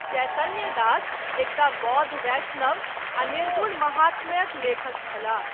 चैतन्य दास, एकटा बौद्ध वैष्णव, आ निर्गुण माहात्म्यक लेखक छलाह।